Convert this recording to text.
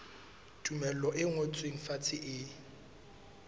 tumello e ngotsweng fatshe e